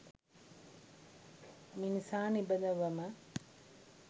මිනිසා නිබඳවම